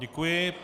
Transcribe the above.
Děkuji.